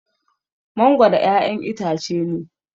mangoro ƴaƴan itace ne